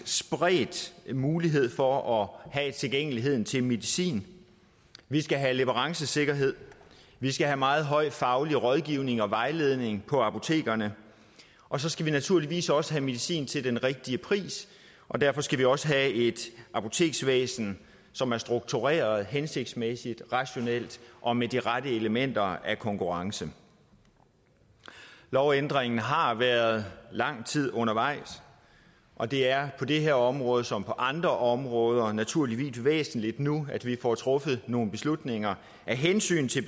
spredt mulighed for at have tilgængelighed til medicin vi skal have leverancesikkerhed vi skal have meget høj faglig rådgivning og vejledning på apotekerne og så skal vi naturligvis også have medicin til den rigtige pris og derfor skal vi også have et apoteksvæsen som er struktureret hensigtsmæssigt rationelt og med de rette elementer af konkurrence lovændringen har været lang tid undervejs og det er på det her område som på andre områder naturligvis væsentligt nu at vi får truffet nogle beslutninger af hensyn til